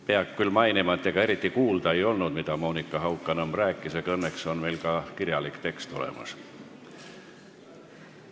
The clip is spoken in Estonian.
Peab küll mainima, et ega eriti kuulda ei olnud, mida Monika Haukanõmm rääkis, aga õnneks on meil ka kirjalik tekst olemas.